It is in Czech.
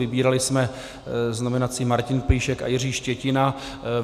Vybírali jsme z nominací Martin Plíšek a Jiří Štětina.